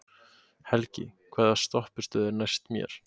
Helgi, hvaða stoppistöð er næst mér?